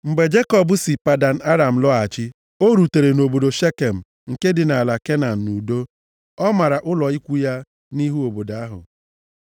Mgbe Jekọb si Padan Aram lọghachi, o rutere obodo Shekem nke dị nʼala Kenan nʼudo. O mara ụlọ ikwu ya nʼihu obodo ahụ.